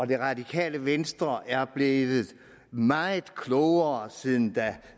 det radikale venstre er blevet meget klogere siden herre